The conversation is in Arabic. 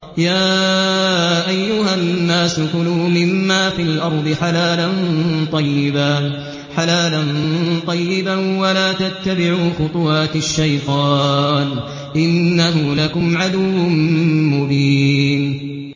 يَا أَيُّهَا النَّاسُ كُلُوا مِمَّا فِي الْأَرْضِ حَلَالًا طَيِّبًا وَلَا تَتَّبِعُوا خُطُوَاتِ الشَّيْطَانِ ۚ إِنَّهُ لَكُمْ عَدُوٌّ مُّبِينٌ